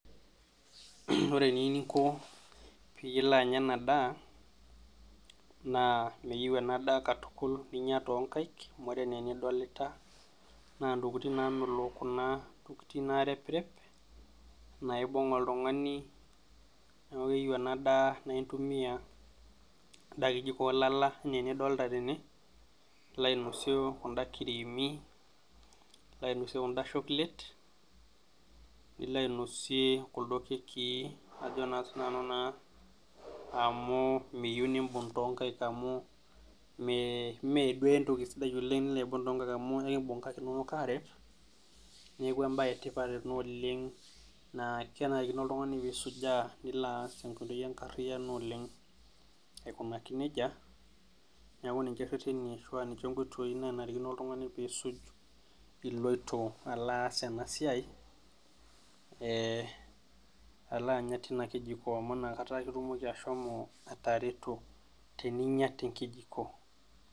Ore eniininko pilo alo anya ena daa naa meyieu enadaa katukul ninye toonkaik amu ore anaa enidolita naa ntokitin namelook kuna , ntokitin nareprep naibung oltungani niaku keyieu ena daa naa intumia enda kijiko olala anaa enidolta tene , nilo ainosie kunda creamyy ,nilo ainosie kunda shoklet , nilo ainosie kuldo kekii ajo naa sinanu amu meyieu nibung toonkaik amu mmee , mmee duo entoki sidai oleng nilo aibung toonkaik amu ekibung nkaik inonok arep , niaku embae etipat ena oleng naa kenarikino oltungani nisujaa nilo aas tenkoitoi enkariano oleng aikunaki nejia , niaku ninche rereni ashu ninche nkoitoi nanarikino oltungani pisuj iloito alo aas ena siai ee alo anya tina kijiko amu inakata ake itumoki ashomo atareto teninyia tenkijiko.